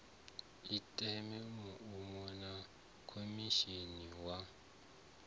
ite muano na khomishinari wa